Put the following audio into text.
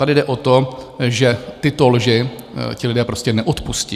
Tady jde o to, že tyto lži ti lidé prostě neodpustí.